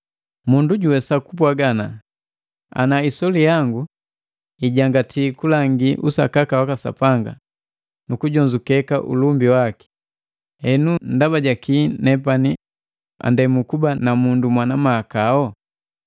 Mundu juwesa kupwaga ana, “Ana isoli yangu ijangati kulangi usakaka waka Sapanga nukujonzuke ulumbi waki, henu ndaba jaki nepani andemu kuba namundu mwana mahakao?”